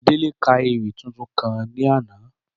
Délé ka ewì tuntun kan ní àná